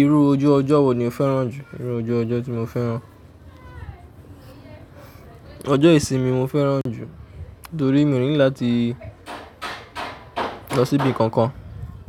Irú ojú ọjọ́ wò ni o fẹ́ràn jù? Irú ojú ọjọ́ tí mo fẹ́ràn. Ọjọ́ ìsinmi mo fẹ́ràn jù torí mi o need láti lọ síbi kankan,